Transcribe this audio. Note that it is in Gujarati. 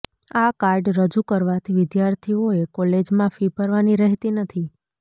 આ કાર્ડ રજૂ કરવાથી વિદ્યાર્થીઓએ કોલેજમાં ફી ભરવાની રહેતી નથી